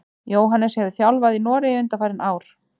Jóhannes hefur þjálfað í Noregi undanfarin ár.